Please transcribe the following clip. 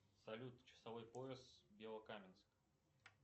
салют часовой пояс белокаменск